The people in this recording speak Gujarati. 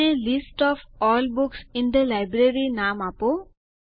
તેને list of all books in the library નામ આપો